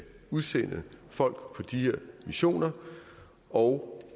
udsende folk på de her missioner og